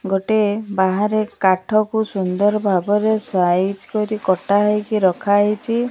ଗୋଟେ ବାହାରେ କାଠକୁ ସୁନ୍ଦର ଭାବରେ ସାଇଜ୍ କରି କଟା ହେଇକି ରଖା ହେଇଚି।